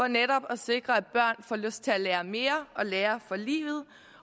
netop at sikre at børn får lyst til at lære mere og lære for livet